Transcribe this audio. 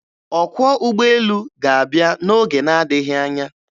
Ọkwọ ụgbọelu ga-abịa n'oge na-adịghị anya.